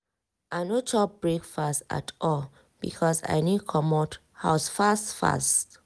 i no chop breakfast at all because i need comot house fast fast.